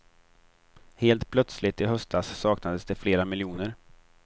Helt plötsligt i höstas saknades det flera miljoner.